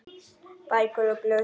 Bækur og blöð í hillum.